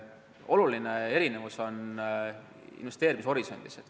Oluline erinevus on investeerimishorisondis.